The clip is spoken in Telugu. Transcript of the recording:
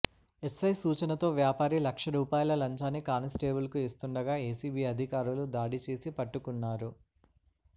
ఎస్ఐ సూచనతో వ్యాపారి లక్ష రూపాయల లంచాన్ని కానిస్టేబుల్కు ఇస్తుండగా ఎసిబి అధికారులు దాడి చేసి పట్టుకున్నారు